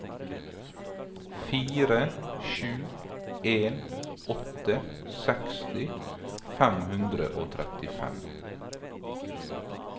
fire sju en åtte seksti fem hundre og trettifem